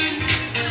hong kong island